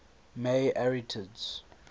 may arietids